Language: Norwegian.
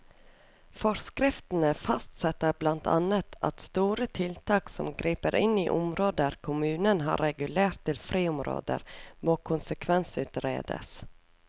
Forskriftene fastsetter blant annet at store tiltak som griper inn i områder kommunen har regulert til friområder, må konsekvensutredes.